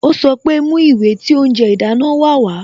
Ó sọ pé "Mú ìwé tí oúnjẹ ìdáná wa wá"